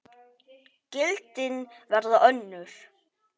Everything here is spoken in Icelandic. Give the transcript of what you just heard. Gildin verða önnur.